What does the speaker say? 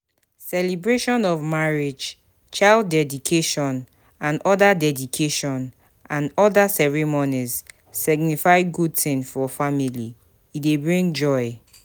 Celebration of marriage, child deedication and oda deedication and oda ceremonies signify good thing for family e dey bring joy